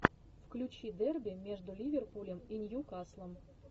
включи дерби между ливерпулем и ньюкаслом